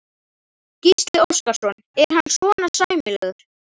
Gísli Óskarsson: Er hann svona sæmilegur?